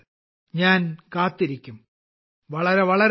ഞാൻ കാത്തിരിക്കും വളരെ വളരെ നന്ദി